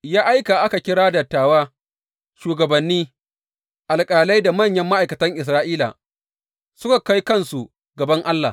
Ya aika a kira dattawa, shugabanni, alƙalai da manyan ma’aikatan Isra’ila, suka kai kansu gaban Allah.